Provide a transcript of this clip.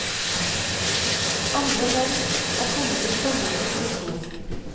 Andre land er kommet til samme konklusjon.